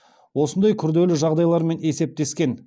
осындай күрделі жағдайлармен есептескен